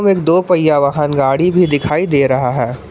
एक दो पहिया वाहन गाड़ी भी दिखाई दे रहा है।